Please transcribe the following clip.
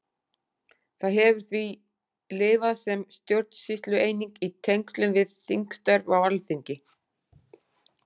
Það hefur því lifað sem stjórnsýslueining í tengslum við þingstörf á Alþingi.